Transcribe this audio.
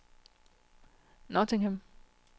Nottingham